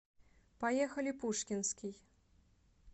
поехали пушкинский